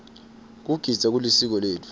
kugidza kulisiko letfu